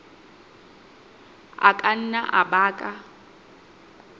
a ka nna a baka